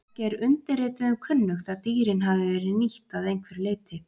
Ekki er undirrituðum kunnugt að dýrin hafi verið nýtt að einhverju leyti.